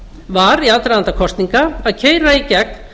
var í aðdraganda kosninga að keyra í gegn